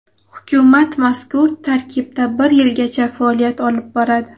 Hukumat mazkur tarkibda bir yilgacha faoliyat olib boradi.